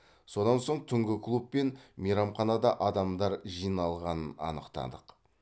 содан соң түнгі клуб пен мейрамханада адамдар жиналғанын анықтадық